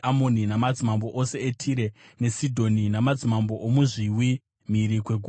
namadzimambo ose eTire neSidhoni; namadzimambo emuzviwi mhiri kwegungwa;